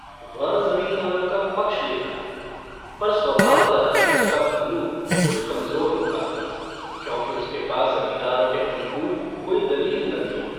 वह जमींदारों का पक्ष लेता पर स्वभावतः उसका पहलू कुछ कमजोर होता था क्योंकि उसके पास जमींदारों के अनुकूल कोई दलील न थी।